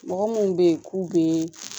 Mɔgɔ munnu be yen k'u be